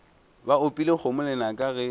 ba opile kgomo lenaka ge